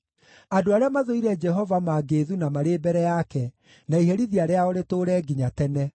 Andũ arĩa mathũire Jehova mangĩĩthuna marĩ mbere yake, na iherithia rĩao rĩtũũre nginya tene.